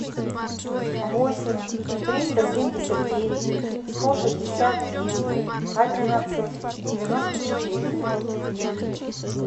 восемь триста семьдесят девять сто шестьдесят девять одиннадцать девяносто четыре